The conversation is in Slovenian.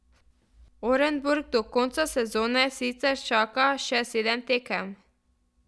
Orenburg do konca sezone sicer čaka še sedem tekem.